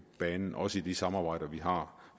banen i også de samarbejder vi har